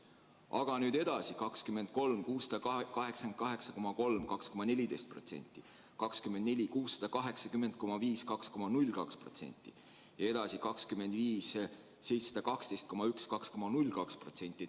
Aga nüüd edasi: 2023. aastal 688,3 miljonit eurot ehk 2,14%, 2024. aastal 680,5 miljonit eurot ehk 2,02%, 2025. aastal 712,1 miljonit eurot ehk 2,02%.